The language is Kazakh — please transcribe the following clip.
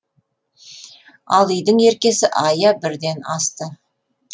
ал үйдің еркесі айя бірден асты